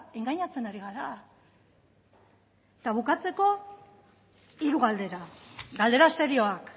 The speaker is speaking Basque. engainatzen ari gara eta bukatzeko hiru galdera galdera serioak